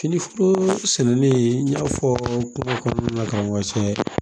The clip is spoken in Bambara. Fini foro sɛnɛnen n y'a fɔɔ kuma kɔnɔna na karamɔgɔ cɛ